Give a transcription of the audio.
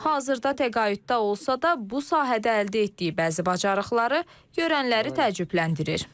Hazırda təqaüddə olsa da, bu sahədə əldə etdiyi bəzi bacarıqları görənləri təəccübləndirir.